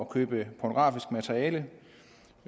købe pornografisk materiale